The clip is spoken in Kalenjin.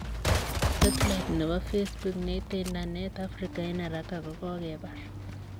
Setlait nebo facebook neiitei indanet Afrika eng' haraka kogokebar